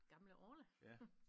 Gamle Orla